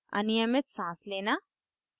* अनियमित साँस लेना